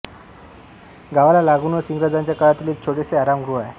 गावाला लागूनच इंग्रजांच्या काळातील एक छोटेसे आराम गृह आहे